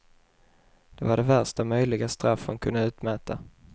Det var det värsta möjliga straff hon kunde utmäta.